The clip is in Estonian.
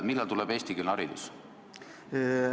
Millal tuleb eestikeelne haridus?